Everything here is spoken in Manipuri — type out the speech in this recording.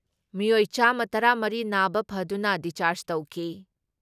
ꯃꯤꯑꯣꯏ ꯆꯥꯝꯃ ꯇꯔꯥ ꯃꯔꯤ ꯅꯥꯕ ꯐꯗꯨꯅ ꯗꯤꯁꯆꯥꯔꯖ ꯇꯧꯈꯤ